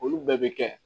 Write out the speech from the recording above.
Olu bɛɛ bɛ kɛ